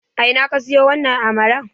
A ina ka siyo wannan amalar?